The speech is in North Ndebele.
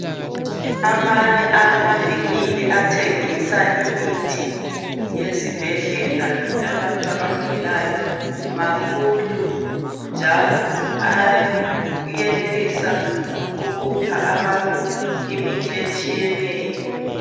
Amanye amavinkili athengisa imithi yezibhedlela yabantu abagulayo makhulu njalo ayenelisa ukupha abantu imithi etshiyeneyo.